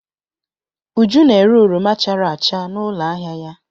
Uju na-ere oroma chara acha n'ụlọ ahịa ya.